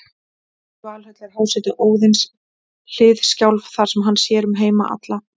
Í Valhöll er hásæti Óðins, Hliðskjálf, þar sem hann sér um heima alla.